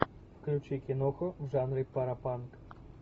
включи киноху в жанре паропанк